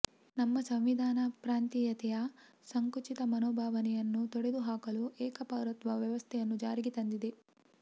ನಮ್ಮ ಸಂವಿಧಾನ ಪ್ರಾಂತೀಯತೆಯ ಸಂಕುಚಿತ ಮನೋಭಾವನೆಯನ್ನು ತೊಡೆದು ಹಾಕಲು ಏಕಪೌರತ್ವ ವ್ಯವಸ್ಥೆಯನ್ನು ಜಾರಿಗೆ ತಂದಿದೆ